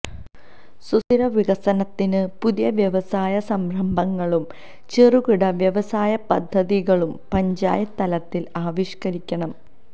സുസ്ഥിര വികസനത്തിന് പുതിയ വ്യവസായ സംരംഭങ്ങളും ചെറുകിട വ്യവസായ പദ്ധതികളും പഞ്ചായത്ത് തലത്തില് ആവിഷ്കരിക്കണം